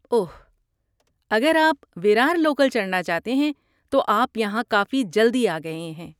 اوہ، اگر آپ ویرار لوکل چڑھنا چاہتے ہیں تو آپ یہاں کافی جلدی آ گئے ہیں۔